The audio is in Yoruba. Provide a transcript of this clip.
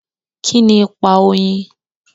Kíni ipa oyin?